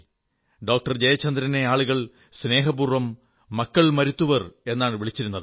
doctor ജയചന്ദ്രനെ ആളുകൾ സ്നേഹപൂർവ്വം മക്കൾ മരുത്തുവർ എന്നാണ് വിളിച്ചിരുന്നത്